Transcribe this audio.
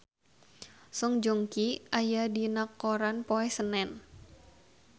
Song Joong Ki aya dina koran poe Senen